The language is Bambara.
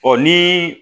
Ɔ ni